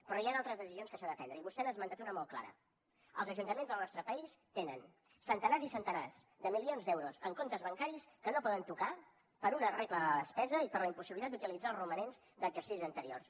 però hi han altres decisions que s’han de prendre i vostè n’ha esmentat una de molt clara els ajuntaments del nostre país tenen centenars i centenars de milions d’euros en comptes bancaris que no poden tocar per una regla de la despesa i per la impossibilitat d’utilitzar els romanents d’exercicis anteriors